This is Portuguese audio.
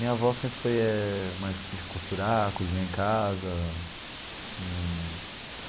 Minha avó sempre foi mais de costurar, cozinhar em casa hum.